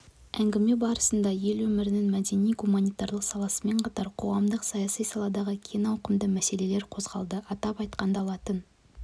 әңгіме барысында ел өмірінің мәдени-гуманитарлық саласымен қатар қоғамдық-саяси саладағы кең ауқымды мәселелер қозғалды атап айтқанда латын